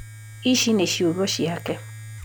Ici nĩ ciũgo ciake